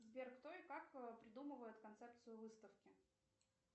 сбер кто и как придумывает концепцию выставки